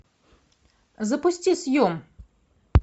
запусти съем